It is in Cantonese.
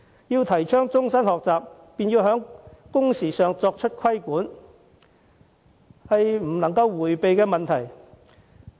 要提倡終身學習，必須以規管工時作配合，這是政府不能迴避的問題。